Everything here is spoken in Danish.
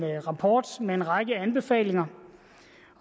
rapport med en række anbefalinger